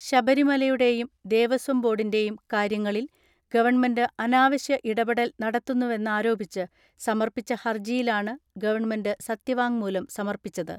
ശബരിമലയുടെയും ദേവസ്വംബോർഡിന്റെയും കാര്യങ്ങ ളിൽ ഗവൺമെന്റ് അനാവശ്യ ഇടപെടൽ നടത്തുന്നുവെന്നാ രോപിച്ച് സമർപ്പിച്ച ഹർജിയിലാണ് ഗവൺമെന്റ് സത്യവാ ങ്മൂലം സമർപ്പിച്ചത്.